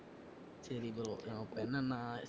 சரி bro ஆஹ் இப்ப என்னனா?